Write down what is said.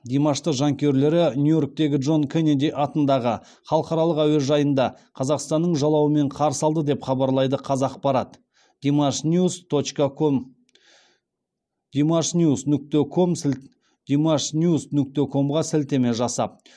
димашты жанкүйерлері нью иорктегі джон кеннеди атындағы халықаралық әуежайында қазақстанның жалауымен қарсы алды деп хабарлайды қазақпарат димашниюс нүкте комға сілтеме жасап